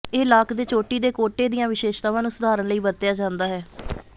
ਇਹ ਲਾਕ ਦੇ ਚੋਟੀ ਦੇ ਕੋਟੇ ਦੀਆਂ ਵਿਸ਼ੇਸ਼ਤਾਵਾਂ ਨੂੰ ਸੁਧਾਰਨ ਲਈ ਵਰਤਿਆ ਜਾਂਦਾ ਹੈ